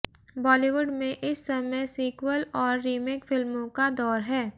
बॉलीवुड में इस समय सीक्वल और रीमेक फिल्मों का दौर है